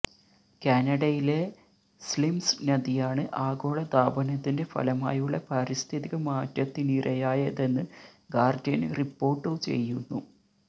കാനഡയിലെ സ്ലിംസ് നദിയാണ് ആഗോള താപനത്തിന്റെ ഫലമായുള്ള പാരിസ്ഥിതിക മാറ്റത്തിനിരയായതെന്ന് ഗാര്ഡിയന് റിപ്പോര്ട്ടു ചെയ്യുന്നു